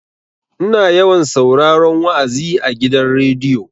Ina yawan sauraron wa'azi a gidan rediyo.